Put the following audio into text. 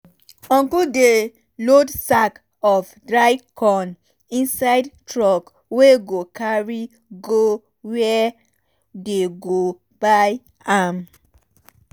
uncle dey load sack of dry corn inside truck wey go carry go where dey go buy am.